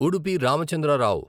Udupi Ramachandra Rao